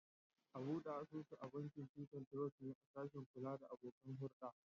A bude asusu a bankin Titan Trust ne a sashin kula da abokan hurda.